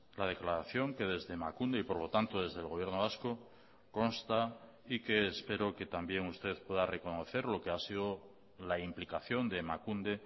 la declaración que desde emakunde y por lo tanto desde el gobierno vasco consta y que espero que también usted pueda reconocer lo que ha sido la implicación de emakunde